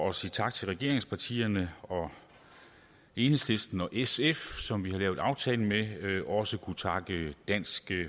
at sige tak til regeringspartierne og enhedslisten og sf som vi har lavet aftalen med også kunne takke dansk